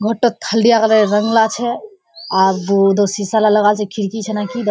घोरटात हल्दिया कलोरे रोंग ला छे आर उदर शीशा ला लागाल छे खिड़की छे ना की देखा --